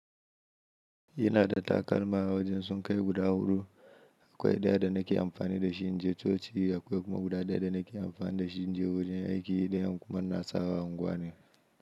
Ina da takalma wajen sun kai guda hudu, akwai ɗaya da nake amfani da shi, inji coci akwai kuma guda ɗaya da nake amfani da shi, inji wajen aiki ɗayan kuma na sawa unguwa ne.